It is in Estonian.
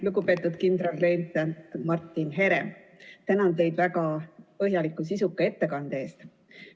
Lugupeetud kindralleitnant Martin Herem, tänan teid väga põhjaliku ja sisuka ettekande eest!